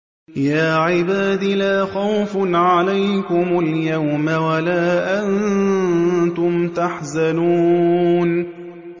يَا عِبَادِ لَا خَوْفٌ عَلَيْكُمُ الْيَوْمَ وَلَا أَنتُمْ تَحْزَنُونَ